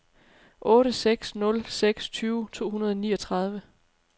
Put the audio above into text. otte seks nul seks tyve to hundrede og niogtredive